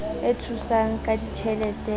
e thusang ka ditjhelete e